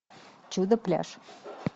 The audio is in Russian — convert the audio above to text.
чудо пляж